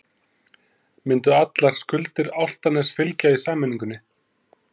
Myndu allar skuldir Álftaness fylgja í sameiningunni?